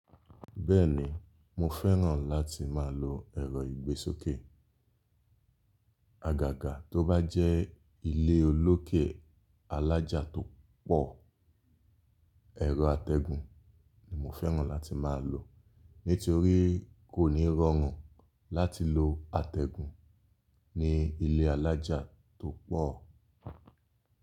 Bẹ́ẹ̀ni, mo fẹ́ràn láti máa lo ẹ̀rọ ìgbésókè. Àgàgà tó bá jẹ́ ilé olókè alájà tó pọ̀, ẹ̀rọ atẹ́gun ni mo fẹ́ràn láti máa lò. Nítorí kò ní rọrùn láti lo atẹ́gun ní ilé alájà tó pọ̀.